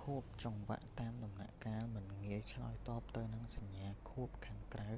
ខួបចង្វាក់តាមដំណាក់កាលមិនងាយឆ្លើយតបទៅនឹងសញ្ញាខួបខាងក្រៅ